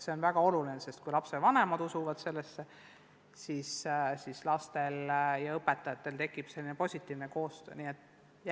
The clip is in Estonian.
See on väga oluline, sest kui lapsevanemad usuvad sellesse, siis tekib lastel ja õpetajatel positiivne koostöö.